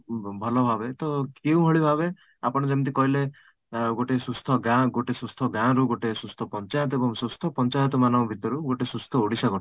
ଭଲ ଭାବେ ତ ଏଇଭଳି ଭାବେ ଆପଣ ଯେମିତି କହିଲେ ଆଁ ଗୋଟେ ସୁସ୍ଥ ଗାଁ ଗୋଟେ ସୁସ୍ଥ ଗାଁ ରୁ ଗୋଟେ ସୁସ୍ଥ ପଞ୍ଚାୟତ ଏବଂ ସୁସ୍ଥ ପଞ୍ଚାୟତ ମାନଙ୍କ ଭିତରୁ ଗୋଟେ ସୁସ୍ଥ ଓଡିଶା ଗଠନ